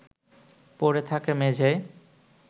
পড়ে থাকে মেঝেয়